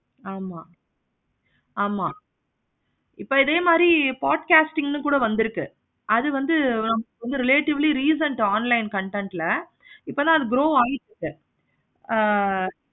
ஆமா ஆமா இப்ப இதே மாதிரி part casting கூட வந்துருக்கு. அது வந்து relatively recent online content ல இப்போல்லாம் அது pro ஆகிடுச்சு. ஆஹ்